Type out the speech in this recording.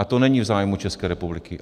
A to není v zájmu České republiky.